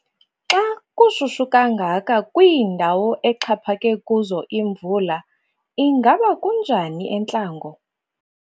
Xa kushushu kangaka kwiindawo exhaphake kuzo imvula, ingaba kunjani entlango?